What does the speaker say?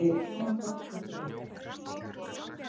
Þau hafa gott af því.